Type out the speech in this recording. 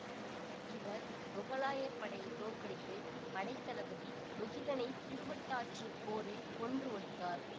இவர் முகலாயர் படையை தோற்கடித்து படைத்தளபதி முகிலனைத் திருவட்டாற்று போரில் கொன்று ஒழித்தார்